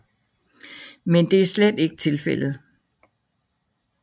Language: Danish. Men det er slet ikke tilfældet